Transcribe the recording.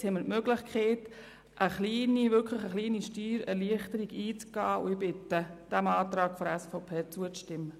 Jetzt haben wir die Möglichkeit, eine kleine Steuererleichterung einzugehen, und ich bitte Sie, dem Antrag der SVP zuzustimmen.